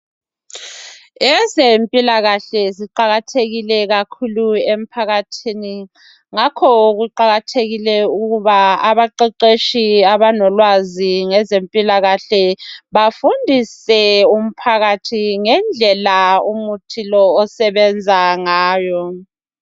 Ezempilakahle ziqakathekile kakhulu ephakathini ngakho kuqakathekile ukuba abaqeqetshi abalolwazi ngezempilakahle bafundise umphakathi ngendlela umuthi lo osebenza ngayo.